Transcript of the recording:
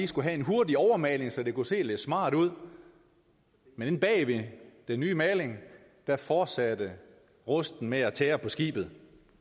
skulle have en hurtig overmaling så den kunne se lidt smart ud men inde bag den nye maling fortsatte rusten med at tære på skibet